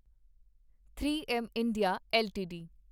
3 M India LTD